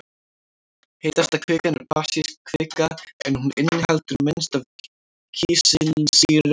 Heitasta kvikan er basísk kvika en hún inniheldur minnst af kísilsýru.